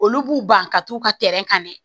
Olu b'u ban ka t'u ka ka ɲɛ